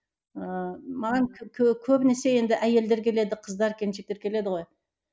ыыы маған көбінесе енді әйелдер келеді қыздар келіншектер келеді ғой